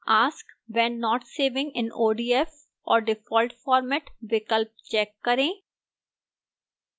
ask when not saving in odf or default format विकल्प check करें